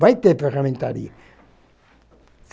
Vai ter ferramentaria.